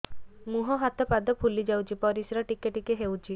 ମୁହଁ ହାତ ପାଦ ଫୁଲି ଯାଉଛି ପରିସ୍ରା ଟିକେ ଟିକେ ହଉଛି